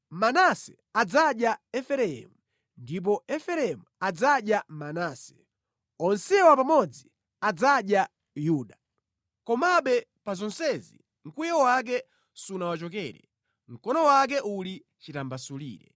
Manase adzadya Efereimu ndipo Efereimu adzadya Manase; onsewa pamodzi adzadya Yuda. Komabe pa zonsezi, mkwiyo wake sunawachokere, mkono wake uli chitambasulire.